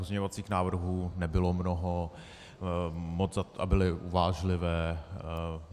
Pozměňovacích návrhů nebylo mnoho a byly uvážlivé.